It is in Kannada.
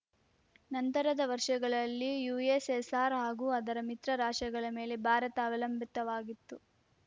ನಂತರದ ವರ್ಷಗಳಲ್ಲಿ ಯುಎಸ್‌ಎಸ್‌ಆರ್‌ ಹಾಗೂ ಅದರ ಮಿತ್ರ ರಾಷ್ಟ್ರಗಳ ಮೇಲೆ ಭಾರತ ಅವಲಂಬಿತವಾಗಿತ್ತು